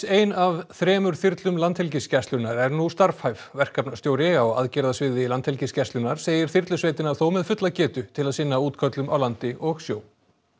ein af þremur þyrlum Landhelgisgæslunnar er nú starfhæf verkefnastjóri á aðgerðasviði Landhelgisgæslunnar segir þyrlusveitina þó með fulla getu til að sinna útköllum á landi og sjó